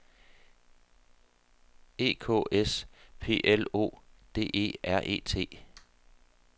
E K S P L O D E R E T